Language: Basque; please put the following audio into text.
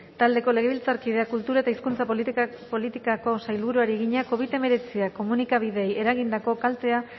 taldeko legebiltzarkideak kultura eta hizkuntza politikako sailburuari egina covid hemeretziak komunikabideei eragindako kaltea